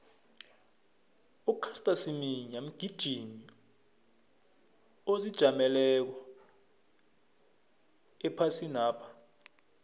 ucaster semenya mgijimi ozijameleko ephasinapha